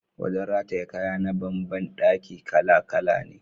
Wajen rataye kaya na ban ban daki kala-kala ne.